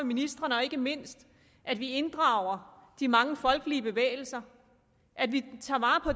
ministrene og ikke mindst at vi inddrager de mange folkelige bevægelser at vi tager